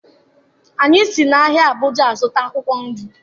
Anyị si n'ahịa Abuja azụta akwụkwọ nri